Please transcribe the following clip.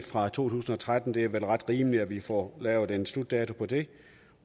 fra to tusind og tretten det er vel ret rimeligt at vi får lavet en slutdato på det